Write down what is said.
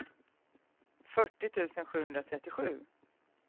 fyrtio tusen sjuhundratrettiosju